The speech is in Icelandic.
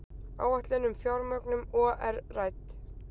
Áætlun um fjármögnun OR rædd